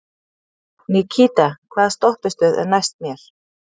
Nikíta, hvaða stoppistöð er næst mér?